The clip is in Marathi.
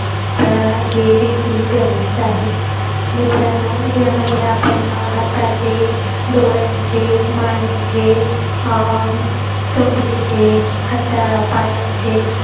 हे देखील गरजेचं आहे मित्रांनो यामध्ये आपण हातचे डोळ्यांचे मानेचे अं कंबरेचे हाता पायांचे